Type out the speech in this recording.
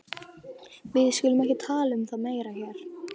Við skulum ekki tala um það meira hér.